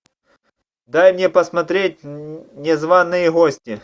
дай мне посмотреть незваные гости